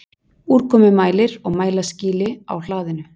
Úrkomumælir og mælaskýli á hlaðinu.